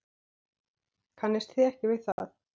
Kannist þið ekki við það?